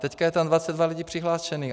Teď je tam 22 lidí přihlášených.